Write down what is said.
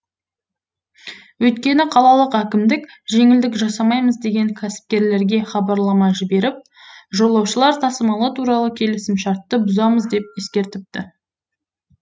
өйткені қалалық әкімдік жеңілдік жасамаймыз деген кәсіпкерлерге хабарлама жіберіп жолаушылар тасымалы туралы келісімшартты бұзамыз деп ескертіпті